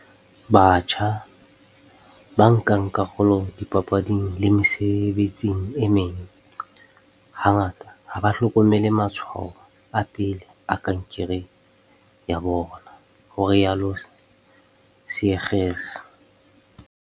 Batjha, ba nkang karolo dipapading le mesebetsing e meng, ha ngata ha ba hlokomele matshwao a pele a kankere ya bona, ho rialo Seegers.